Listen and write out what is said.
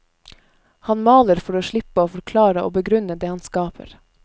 Han maler for å slippe å forklare og begrunne det han skaper.